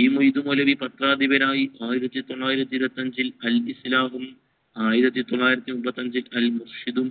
ഈ മൗലവി പത്രാധിപനായി ആയിരത്തി തൊള്ളായിരത്തി ഇരുവത്തി അഞ്ചിൽ അൽ ഇസ്ലാമും ആയിരത്തി തൊള്ളായിരത്തി മുപ്പത്തി അഞ്ചിൽ അൽ മുഫ്ഹിദും